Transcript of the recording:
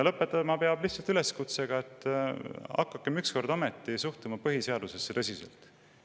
Lõpetama peab lihtsalt üleskutsega, et hakakem ükskord ometi suhtuma põhiseadusesse tõsiselt.